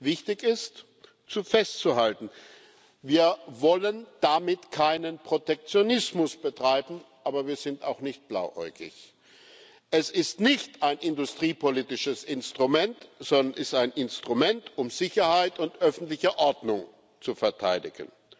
Wichtig ist festzuhalten Wir wollen damit keinen Protektionismus betreiben, aber wir sind auch nicht blauäugig. Es ist kein industriepolitisches Instrument, sondern ein Instrument, um Sicherheit und öffentliche Ordnung zu verteidigen.